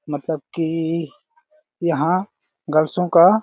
मतलब कि यहां गर्ल्सों का --